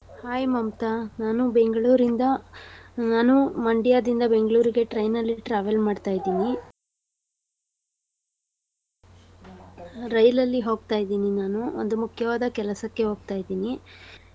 Hai Mamata. ನಾನು ಬೆಂಗ್ಳೂರಿಂದ ನಾನು ಮಂಡ್ಯದಿಂದ ಬೆಂಗ್ಳೂರಿಗೆ train ಅಲ್ಲಿ travel ಮಾಡ್ತಾ ಇದೀನಿ . ರೈಲ್ ಅಲ್ಲಿ ಹೋಗ್ತಾ ಇದೀನಿ ನಾನು. ಒಂದು ಮುಖ್ಯವಾದ ಕೆಲಸಕ್ಕೆ ಹೋಗ್ತಾ ಇದೀನಿ.